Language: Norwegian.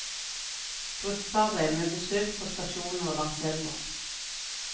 Gruppearbeid med besøk på stasjoner langs elva.